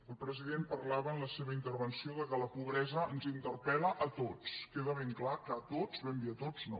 el president parlava en la seva intervenció que la pobresa ens interpel·la a tots queda ben clar que a tots ben bé a tots no